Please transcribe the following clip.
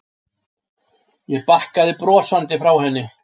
Ég bakkaði brosandi frá henni.